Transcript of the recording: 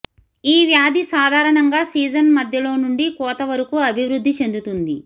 ఈ వ్యాధి సాధారణంగా సీజన్ మధ్యలో నుండి కోత వరకు అభివృద్ధి చెందుతుంది